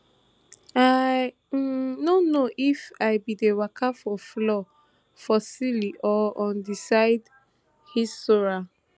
i um no know if i bin dey waka for floor for ceiling or on di side hissora